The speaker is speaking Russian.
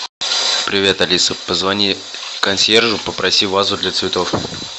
привет алиса позвони консьержу попроси вазу для цветов